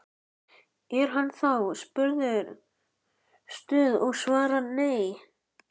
Er hann þá spurður Stuð? og svarar: Nei.